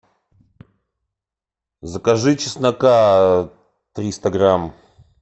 закажи чеснока триста грамм